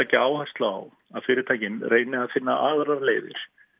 leggja áherslu á að fyrirtækin reyni að finna aðrar leiðir